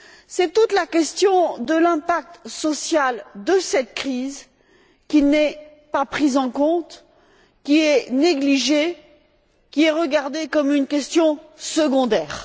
C'est toute la question de l'impact social de cette crise, qui n'est pas pris en compte, qui est négligé, qui est regardé comme une question secondaire.